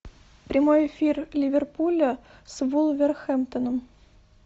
прямой эфир ливерпуля с вулверхэмптоном